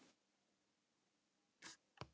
En er svigrúm fyrir samkeppni á þessum markaði?